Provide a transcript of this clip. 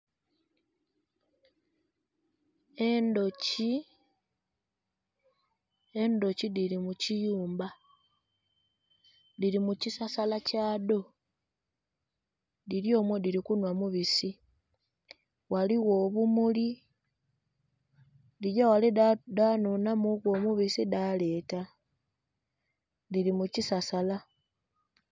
Endhuki, endhuki dhiri mukiyumba dhiri mukisasala kyadho dhiryomwo dhirikunhwa mubisi ghaligho obumuli dhigyaghale dhanhunhamuku omubisi dhaleta dhiri mukisasala.